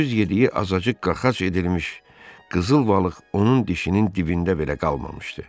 Gündüz yediyi azacıq qaxac edilmiş qızıl balıq onun dişinin dibində belə qalmamışdı.